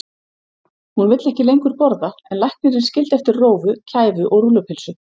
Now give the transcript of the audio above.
Hún vill ekki lengur borða en læknirinn skildi eftir rófu, kæfu og rúllupylsu.